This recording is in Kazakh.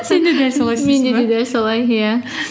сен де дәл солай де дәл солай иә